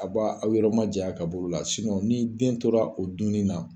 A b'a aw yɔrɔ ma jiya ka b'olu la . ni den tora o dun ni na